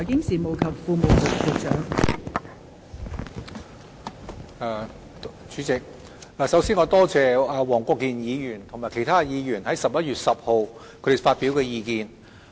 代理主席，首先，我感謝黃國健議員及其他議員於11月10日發表的意見。